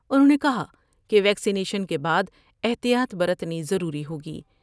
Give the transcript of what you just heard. انھوں نے کہا کہ ویکسینیشن کے بعد احتیاط برتنی ضروری ہوگی ۔